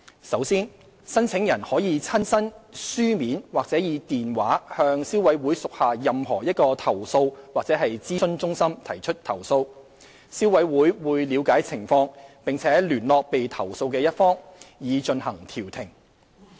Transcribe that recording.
首先，申請人可以親身、書面或以電話向消委會屬下任何一個投訴及諮詢中心提出投訴，消委會會了解情況，並聯絡被投訴的一方，以進行調停。